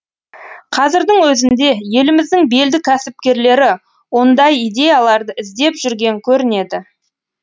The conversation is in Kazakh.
қазірдің өзінде еліміздің белді кәсіпкерлері ондай идеяларды іздеп жүрген көрінеді